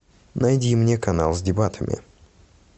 найди мне канал с дебатами